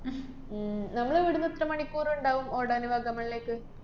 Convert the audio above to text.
ഉം നമ്മളിവിടുന്ന് എത്ര മണിക്കൂറ്ണ്ടാവും ഓടാനു വാഗമണ്ണിലേക്ക്?